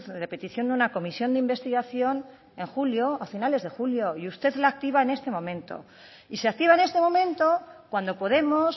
de petición de una comisión de investigación en julio a finales de julio y usted la activa en este momento y se activa en este momento cuando podemos